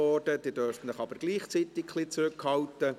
Sie dürfen sich aber gleichwohl ein wenig zurückhalten.